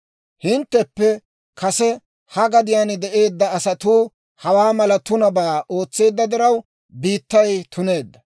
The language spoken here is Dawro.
« ‹Hintteppe kase ha gadiyaan de'eedda asatuu hawaa mala tunabaa ootseedda diraw, biittay tuneedda.